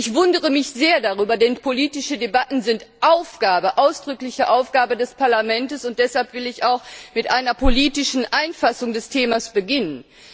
Ich wundere mich sehr darüber, denn politische Debatten sind ausdrückliche Aufgabe des Parlaments, und deshalb will ich auch mit einer politischen Einfassung des Themas beginnen.